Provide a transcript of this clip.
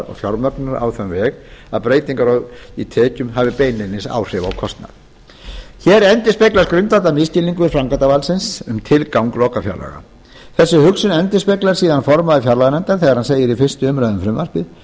og fjármögnunar á þann veg að breytingar í tekjum hafi beinlínis áhrif á kostnað hér endurspeglast grundvallarmisskilningur framkvæmdarvaldsins um tilgang lokafjárlaga þessa hugsun endurspeglar síðan formaður fjárlaganefndar þegar hann segir í fyrstu umræðu um frumvarpið